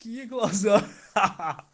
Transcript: такие глаза хаха